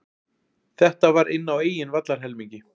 Þetta var inn á eigin vallarhelmingi.